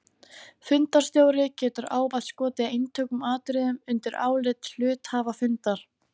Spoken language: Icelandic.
Fundarstjóri getur ávallt skotið einstökum atriðum undir álit hluthafafundar.